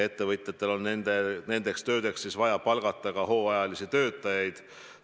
Ettevõtjatel on nendeks töödeks vaja palgata ka hooajalisi töötajaid.